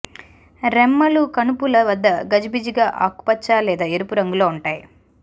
రెమ్మలు కణుపుల వద్ద గజిబిజిగా ఆకుపచ్చ లేదా ఎరుపు రంగులో ఉంటాయి